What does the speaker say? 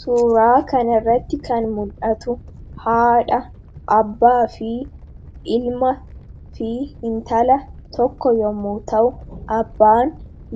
Suuraa kan irratti kan muldhatu haadha, abbaa, ilma fi hintala tokko yommu ta'u, abbaan